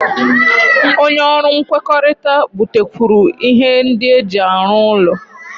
Onye ọrụ nkwekọrịta butekwuru ihe ndị eji arụ ụlọ